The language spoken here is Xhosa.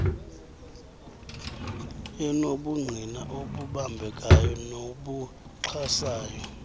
enobungqina obubambekayo nobuxhasayo